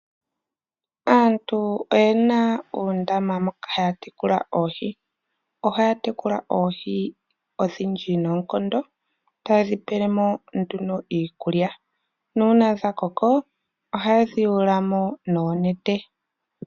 Aantu oyena oondama moka haa tekula oohi ohaya tekula oohi ondhindji noonkondo tayedhi Pele mo ihe iikulya nuuna dha koko ohayedhi yuula mo noonete.